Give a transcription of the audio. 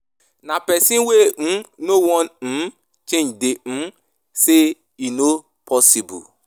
Na person wey [um]no wan um change dey um say e no possible.